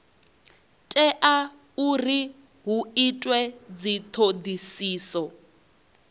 tea uri hu itwe dzithodisiso